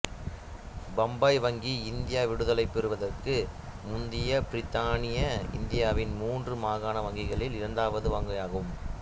பம்பாய் வங்கி இந்தியா விடுதலை பெறுவதற்கு முந்தைய பிரித்தானிய இந்தியாவின் மூன்று மாகாண வங்கிகளில் இரண்டாவது வங்கியாகும்